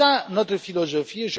C'est notre philosophie.